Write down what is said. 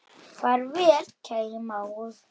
Ekkert virkaði þegar á leið.